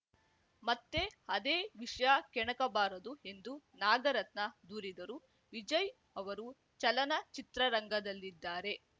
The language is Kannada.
ಮತ್ತೆ ಅದೇ ವಿಷಯ ಕೆಣಕಬಾರದು ಎಂದು ನಾಗರತ್ನ ದೂರಿದರು ವಿಜಯ್‌ ಅವರು ಚಲನಚಿತ್ರರಂಗದಲ್ಲಿದ್ದಾರೆ